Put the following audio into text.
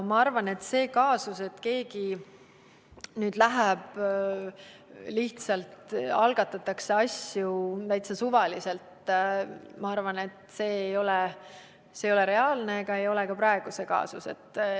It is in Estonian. Ma arvan, et see kaasus, et keegi nüüd läheb ja lihtsalt algatatakse asi täiesti suvaliselt, ei ole reaalne ega ole ka praegu sellega tegemist.